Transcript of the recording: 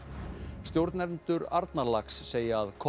stjórnendur Arnarlax segja að